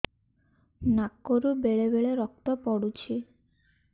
ନାକରୁ ବେଳେ ବେଳେ ରକ୍ତ ପଡୁଛି